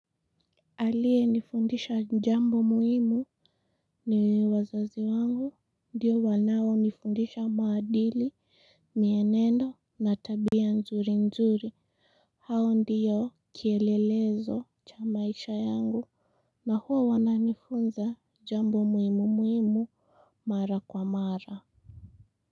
Aliye nifundisha jambo muhimu ni wazazi wangu, ndiyo wanaonifundisha maadili, mienendo, nat tabia nzuri nzuri, hao ndiyo kielelezo cha maisha yangu, na huo wananifunza jambo muhimu muhimu mara kwa mara.